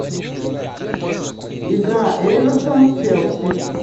игра эвертон челси